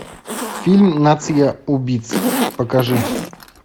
фильм нация убийц покажи